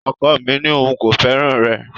Ọkọ mi ní òun kò fẹ́ràn rẹ